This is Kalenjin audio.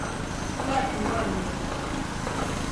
Yatun konyek kuk.